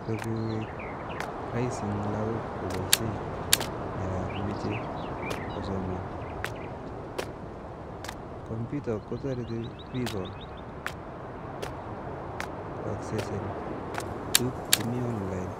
sikoek raisi eng lakok kopaishe yo meche kosoman, kombuta kotoriti biko kuaksesen tukuk chemi online